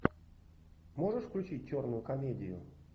можешь включить черную комедию